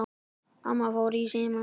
Amma fór í símann.